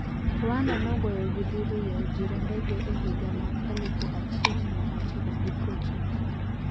Rwanda nogoyogi diriyoyo jirendege e higa ma elufu achiel mia ochiko gi prochiko.